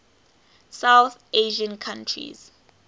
south asian countries